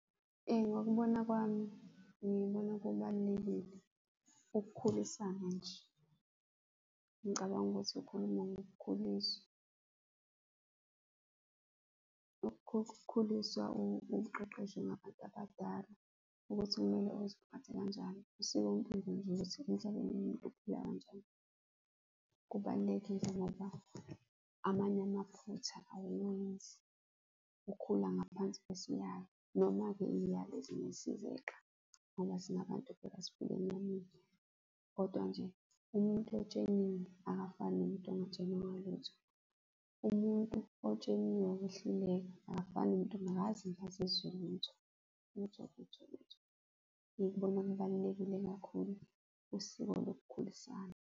Ngokubona kwami, ngibona kubalulekile ukukhulisana nje. Ngicabanga ukuthi ukhuluma ngokukhuliswa, ukukhuliswa uqeqeshwe ngabantu abadala, ukuthi kumele uziphathe kanjani. Usikompilo nje lwethu, emhlabeni umuntu uphila kanjani, kubalulekile ngoba amanye amaphutha awuwenzi ukhula ngaphansi kwesiyalo. Noma-ke iy'yalo ezinye sizeqa ngoba singabantu phela kodwa nje umuntu otsheliwe akafani nomuntu ongatshelwanga lutho. Umuntu otsheliwe wehluleka, akafani nomuntu ongakaze azezwe lutho, lutho, lutho, lutho. Ngikubona kubalulekile kakhulu usiko lokukhululisana.